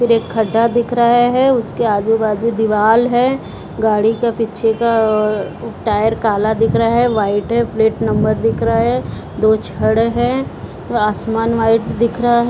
फिर एक खड्डा दिख रहे है उसके आजू-बाजू दीवाल है गाड़ी के पीछे का अ-अ टायर काला दिख रहा है व्हाइट है प्लेट नंबर दिख रहा है दो छड़ है आसमान व्हाइट दिख रहा है।